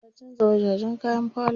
Ta canza wajajen kayan falo.